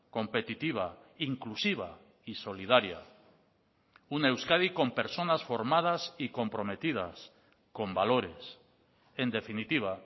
competitiva inclusiva y solidaria una euskadi con personas formadas y comprometidas con valores en definitiva